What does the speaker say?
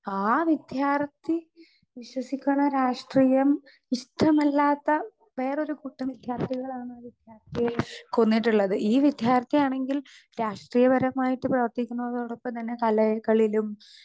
Speaker 2 ആ വിദ്യാർത്ഥി വിശ്വസിക്കണ രാഷ്ട്രീയം ഇഷ്ടമില്ലാത്ത വേറൊരു കൂട്ടം വിദ്യാർത്ഥികളാണ് ആ വിദ്യാർത്ഥിയെ കൊന്നിട്ടുള്ളത്. ഈ വിദ്യാർത്ഥി ആണെങ്കിൽ രാഷ്ട്രീയപരമായിട്ട് പ്രവർത്തിക്കുന്നതോടൊപ്പം തന്നെ കലകളിലും